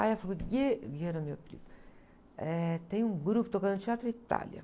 Aí eu falei, era meu apelido, eh, tem um grupo tocando no Teatro Itália.